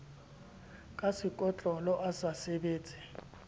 ka sekotlolo a sa sebetse